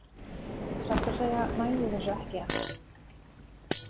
Satt að segja næ ég þessu ekki enn.